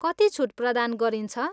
कति छुट प्रदान गरिन्छ?